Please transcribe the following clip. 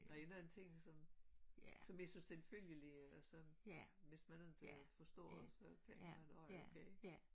Der en anden ting som som jeg synes selvfølgelig så hvis man ikke forstår så tænker man åh okay